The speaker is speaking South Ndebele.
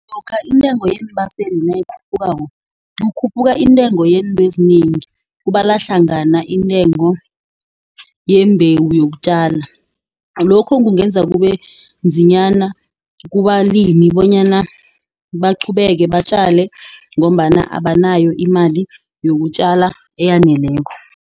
Lokha intengo yeembaseli nayikhuphukako, kukhuphuka intengo yeento ezinengi. Kubalwahlangana intengo yeembewu yokutjala. Lokho kungenza kube nzinyana kubalimi bonyana baqhubeke batjale ngombana abanayo imali yokutjala eyaneleko.